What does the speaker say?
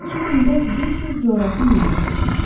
İki gündə 500 coğrafi mil qət etmişik.